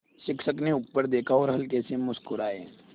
शिक्षक ने ऊपर देखा और हल्के से मुस्कराये